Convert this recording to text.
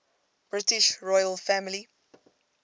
british royal family